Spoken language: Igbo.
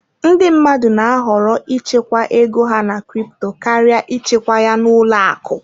Ndị mmadụ na-ahọrọ ịchekwa ego ha na crypto karịa ịchekwa ya n'ụlọ akụ.